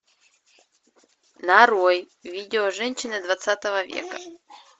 нарой видео женщины двадцатого века